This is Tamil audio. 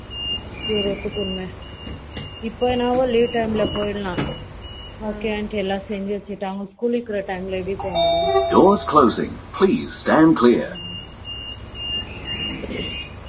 இப்ப என்னவோ day time போய்விடலாம் work எல்லாம் செஞ்சு வச்சுட்டே அவங்களுக்கு school இருக்கிற டைம்ல எப்படி போக முடியும் ம்ம